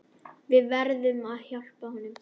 Við verðum hjálpa honum.